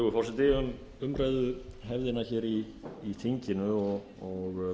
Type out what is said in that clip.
virðulegi forseti um umræðuhefðina í þinginu og